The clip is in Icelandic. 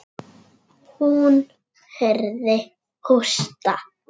Hún heyrði hósta.